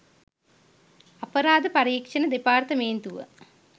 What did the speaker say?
අපරාධ පරීක්‍ෂණ දෙපාර්තමේන්තුව